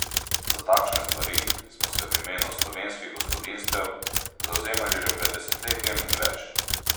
Za takšne stvari smo se v imenu slovenskih gospodinjstev zavzemali že pred desetletjem in več.